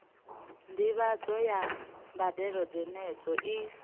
ndivhadzo ya mbadelo dzenedzo i